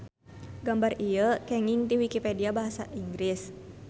Gambar ieu kenging ti wikipedia basa Inggris.